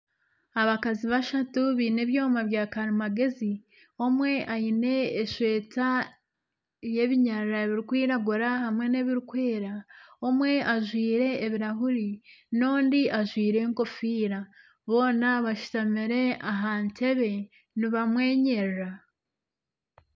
Abakazi bashatu baine ebyoma byakarimagyezi, omwe aine eshweta yebinyarara birikwiragura hamwe n'ebirikwera. Omwe ajwaire ebirahuri n'ondi ajwaire enkofiira. Boona bashutamire aha ntebe nibamwenyerera.